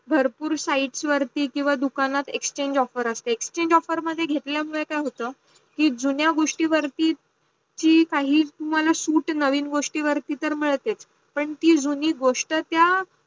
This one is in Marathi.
भरपूर sites वर किव्वा दुकानात exchange offer असते. exchange offer मध्ये घेतला मुडे काय होत? की जुन्या गोष्टीवरती जी काही तुम्हाला सुटे नवीन गोष्टीवरती मिडते पण ती जुनी गोष्ट त्या